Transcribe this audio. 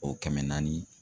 O kɛmɛ naani